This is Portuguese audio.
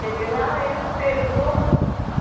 Cheguei lá e ela pegou.